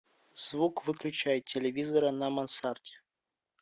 звук выключай телевизора на мансарде